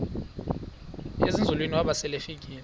ezinzulwini waba selefika